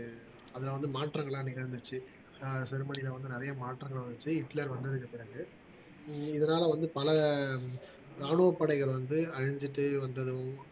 அதுல வந்து மாற்றங்கள் எல்லாம் நிகழ்ந்துச்சு ஆஹ் ஜெர்மனில வந்து நிறைய மாற்றம் வந்துச்சு ஹிட்லர் வந்து பிறகு உம் இதனால வந்து பல ராணுவப் படைகள் வந்து அழிஞ்சிட்டு வந்ததும்